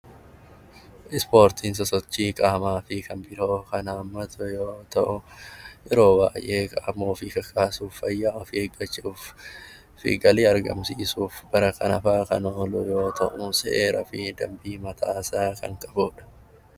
Ispoortiin sochii qaamaa yoo ta'u yeroo baay'ee qaama ofii kakaasuuf fayyaa ofii eeggachuu fi galii argamsiisuuf kan oolu yoo ta'u, seeraa fi dambii mataasaa kan qabudha.